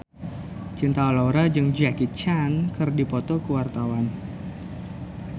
Cinta Laura jeung Jackie Chan keur dipoto ku wartawan